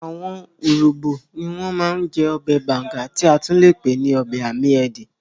Àwọn urhobo ní wọ́n ma ń jẹ́ ọbẹ̀ banga tí a tún le pè ní ọbẹ̀ amiedi